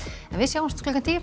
en við sjáumst klukkan tíu